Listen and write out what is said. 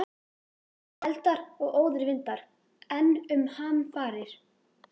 Eldar og óðir vindar- enn um hamfarir